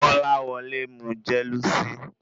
Kolawole mu jelusìí